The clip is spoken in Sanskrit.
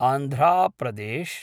आन्ध्रा प्रदेश्